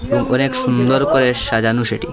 করে সুন্দর করে সাজানো সেটিং ।